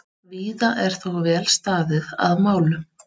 Víða er þó vel staðið að málum.